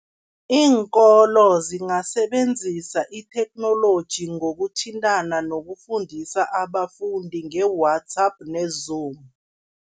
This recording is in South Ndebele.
Iinkolo zingasebenzisa itheknoloji ngokuthintana, nokufundisa abafundi nge-WhatsApp ne-Zoom.